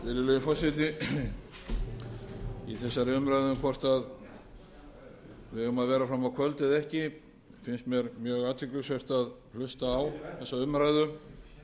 virðulegi forseti í þessari umræðu hvort við eigum að vera fram á kvöld eða ekki finnst mér mjög athyglisvert að hlusta á þessa umræðu